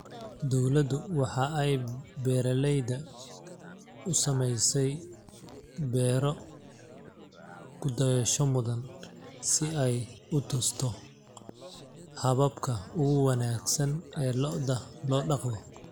Dawladdu waxa ay beeralayda u samaysay beero ku dayasho mudan si ay u tusto hababka ugu wanagsan ee lo'da loo dhaqdo.